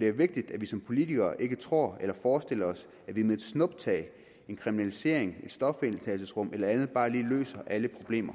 det er vigtigt at vi som politikere ikke tror eller forestiller os at vi med et snuptag en kriminalisering et stofindtagelsesrum eller andet bare lige løser alle problemer